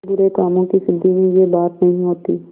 पर बुरे कामों की सिद्धि में यह बात नहीं होती